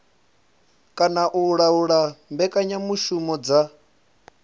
kana u laula mbekanyamushumo dza